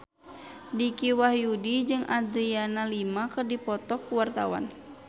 Dicky Wahyudi jeung Adriana Lima keur dipoto ku wartawan